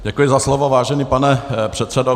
Děkuji za slovo, vážený pane předsedo.